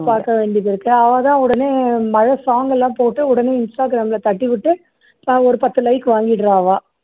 பாக்க வேண்டியது இருக்கு அவா தான் உடனே மழை song எல்லாம் போட்டு உடனே instagram ல தட்டிவிட்டு அவ ஒரு பத்து like வாங்கிடுறா